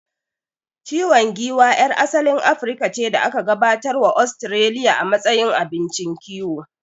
Ciwan giwa yar asalin Afirka ce da aka gabatar wa Ostiraliya a matsayin abincin kiwo